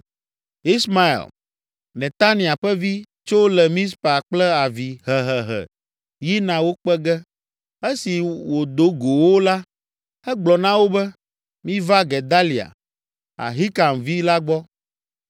Ismael, Netania ƒe vi, tso le Mizpa kple avi hehehe yina wo kpe ge. Esi wòdo go wo la, egblɔ na wo be, “Miva Gedalia, Ahikam vi la gbɔ.”